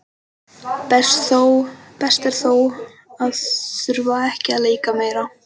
Best er þó að þurfa ekki að leika meira.